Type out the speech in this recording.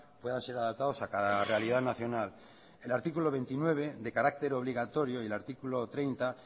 puedan ser adaptados a cada realidad nacional el artículo veintinueve de carácter obligatorio y el artículo treinta